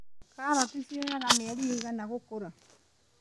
Karati cioyaga mĩeri ĩigana gũkũra.